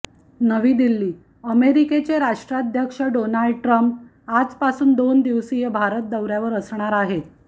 नवी दिल्लीः अमेरिकेचे राष्ट्राध्यक्ष डोनाल्ड ट्रंप आजपासून दोन दिवसीय भारत दौऱ्यावर असणार आहेत